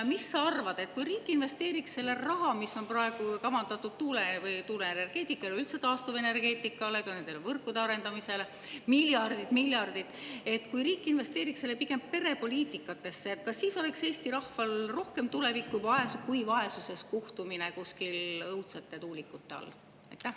Mis sa arvad, kui riik investeeriks selle raha, mis on praegu kavandatud tuuleenergeetikale või üldse taastuvenergeetikale, ka võrkude arendamisele – miljardid-miljardid –, pigem perepoliitikasse, kas siis oleks Eesti rahval rohkem tulevikku kui vaesuses kuhtumine kuskil õudsete tuulikute all?